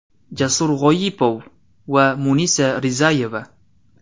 Jasur G‘oyipov va Munisa Rizayeva.